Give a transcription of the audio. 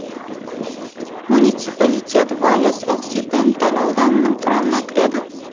муниципалитет вальес оксиденталь ауданының құрамына кіреді